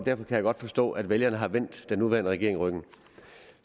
kan jeg godt forstå at vælgerne har vendt den nuværende regering ryggen